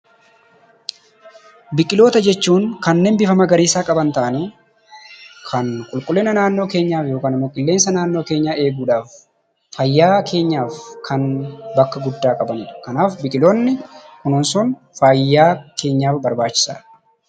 Biqiloota jechuun kanneen bifa magariisaa qaban ta'anii kan qulqullinaa naannoo keenyaa yookaan ammoo qilleensaa naannoo keenyaa eeguudhaaf faayaa keenyaaf bakka guddaa qabaniidha. Kanaaf biqiloota kunuunsun faayaa keenyaaf barbachiisaadha.